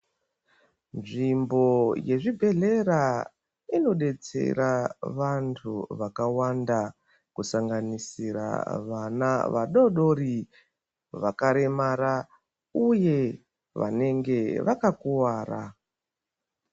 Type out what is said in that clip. Nzvimbo dzezvibhedhlera inodetsera vantu vakawanda kusanganisira vana vadoodori vakaremara uye vanenge vakakuwara.